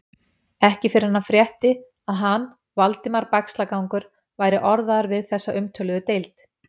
Ekki fyrr en hann frétti, að hann, Valdimar Bægslagangur, væri orðaður við þessa umtöluðu deild.